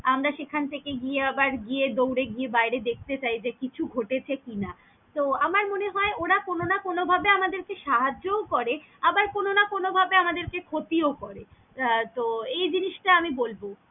আমরা সেখান থেকে গিয়ে আবার গিয়ে দউরে গিয়ে বাইরে দেখতে চাই যে কিছু ঘটে গেছে কিনা, তহ আমার মনে হয় ওরা কোনও না কোনও ভাবে আমাদের কে সাহায্যও করে আবার কোনও না কোনও ভাবে আমাদের কে ক্ষতি ও করে আহ তহ এই জিনিসটা আমি বলবো।